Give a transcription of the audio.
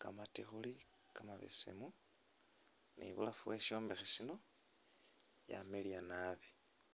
kamatikhuli kamabesemu nibulafu weshishombekhe shino wamiliya naabi